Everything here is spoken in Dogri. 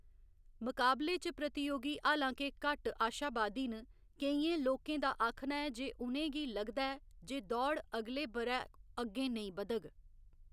मकाबले च प्रतियोगी, हालां के, घट्ट आशावादी न, केइयें लोकें दा आखना ऐ जे उ'नें गी लगदा ऐ जे दौड़ अगले ब'रै अग्गें नेईं बद्‌धग।